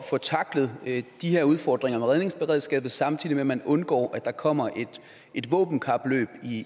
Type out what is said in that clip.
få tacklet de her udfordringer med redningsberedskabet samtidig med at man undgår at der kommer et våbenkapløb